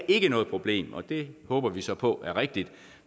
ikke er noget problem og det håber vi så på er rigtigt